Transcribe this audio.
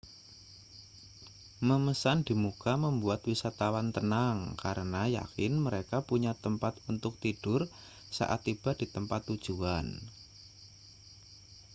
memesan di muka membuat wisatawan tenang karena yakin mereka punya tempat untuk tidur saat tiba di tempat tujuan